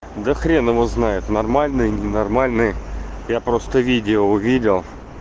да хрен его знает нормальная и ненормальная я просто видео увидел